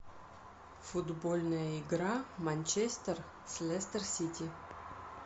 футбольная игра манчестер с лестер сити